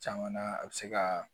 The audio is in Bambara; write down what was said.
Caman na a bɛ se ka